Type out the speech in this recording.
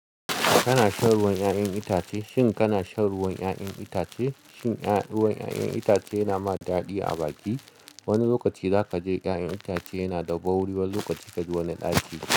Kana shan ruwan 'ya'yan itace? Shin kana shan ruwan 'ya'yan itace? Shin ruwan 'ya'yan itace yana ma daɗi a baki? Wani lokaci za ka ji 'ya'yan itace yana da ɓauri wani lokaci ka ji wani ɗaci.